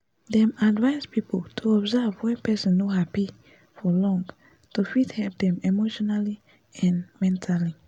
dem advice people to observe wen person no happy for long to fit help dem emotionally n mentally